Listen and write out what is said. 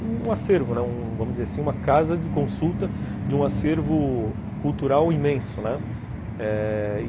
um acervo, vamos dizer assim, uma casa de consulta de um acervo cultural imenso, né, uhum, eh...